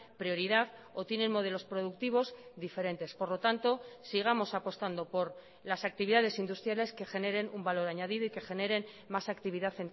prioridad o tienen modelos productivos diferentes por lo tanto sigamos apostando por las actividades industriales que generen un valor añadido y que generen más actividad